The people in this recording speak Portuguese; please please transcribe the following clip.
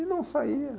E não saía.